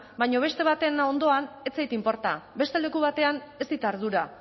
baina beste baten ondoan ez zait inporta beste leku batean ez dit ardura